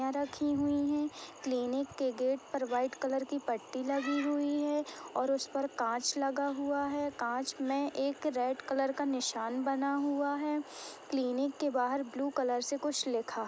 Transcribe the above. रखी हुई है क्लिनिक के गेट पर व्हाइट कलर पट्टी लगी हुई है और उस पर काँच लगा हुआ है। काँच में एक रेड कलर का निशान बना हुआ है। क्लिनिक के बाहर ब्लू कलर से कुछ लिखा --